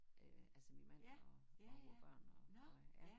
Øh altså min mand og og vores børn og og øh ja